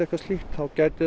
þá gæti